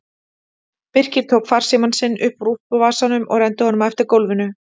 Birkir tók farsímann sinn upp úr úlpuvasanum og renndi honum eftir gólfinu.